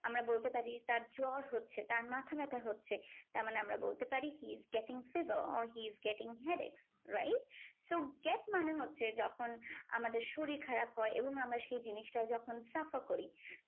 আমরা বলতে পারি তার জ্বর হচ্ছে তার মাথাব্যথা হচ্ছে। তারমানে আমরা বলতে পারি he is getting fever or he is getting headache. wright? so get মানে হচ্ছে যখন আমাদের শরীর খারাপ হয় এবং আমরা সেই জিনিসটা যখন suffer করি